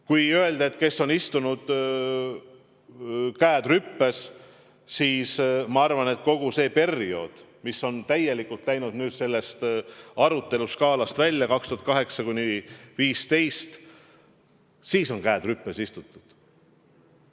Kui mõelda, kes on istunud, käed rüpes, siis ma arvan, et kogu see periood, mis on sellest arutelu skaalast täielikult välja jäänud – aastad 2008–2015 – on käed rüpes istutud.